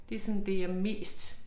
Det sådan det jeg mest